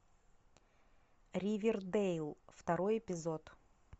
ривердейл второй эпизод